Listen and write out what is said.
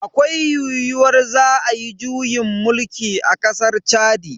Akwai yiyuwar za ayi juyin mulki a kasar Chadi.